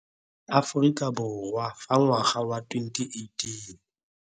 Aforika Borwa fa ngwaga wa 2018.